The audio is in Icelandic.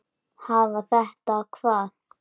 Hafa þetta hvað?